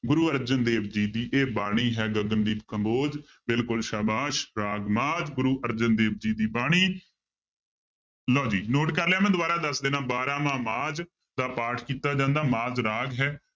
ਗੁਰੂ ਅਰਜਨ ਦੇਵ ਜੀ ਦੀ ਇਹ ਬਾਣੀ ਹੈ ਗਗਨ ਦੀਪ ਕੰਬੋਜ ਬਿਲਕੁਲ ਸਾਬਾਸ਼, ਰਾਗ ਮਾਝ ਗੁਰੂ ਅਰਜਨ ਦੇਵ ਜੀ ਦੀ ਬਾਣੀ ਲਓ ਜੀ note ਕਰ ਲਿਆ ਮੈਂ ਦੁਬਾਰਾ ਦੱਸ ਦਿਨਾ ਬਾਰਾਂਮਾਂਹ ਮਾਝ ਦਾ ਪਾਠ ਕੀਤਾ ਜਾਂਦਾ ਮਾਝ ਰਾਗ ਹੈ